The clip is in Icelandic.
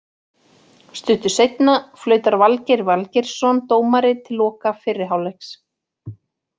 Stuttu síðar flautar Valgeir Valgeirsson dómari til loka fyrri hálfleiks.